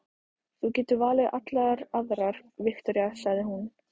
Þú getur valið allar aðrar, Viktoría, sagði hún.